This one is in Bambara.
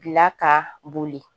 Bila ka boli